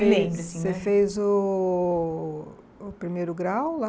E você fez o o primeiro grau lá?